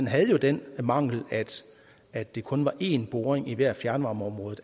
havde den mangel at det kun var én boring i hvert fjernvarmeområdet